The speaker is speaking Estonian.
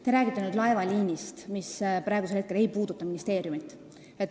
Te räägite laevaliinist, mis praegu ei puuduta ministeeriumi.